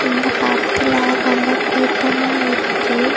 இந்த படத்தில ரொம்ப கூட்டமா இருக்கு.